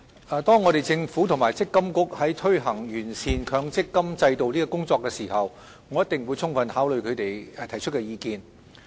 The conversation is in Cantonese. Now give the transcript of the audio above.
政府和強制性公積金計劃管理局在推行完善強制性公積金制度的工作時，一定會充分考慮他們提出的意見。